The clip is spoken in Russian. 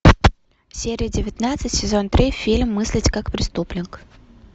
серия девятнадцать сезон три фильм мыслить как преступник